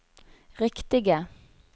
riktige